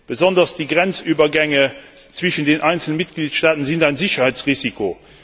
Besonders die Grenzübergänge zwischen den einzelnen Mitgliedstaaten sind ein Sicherheitsrisiko.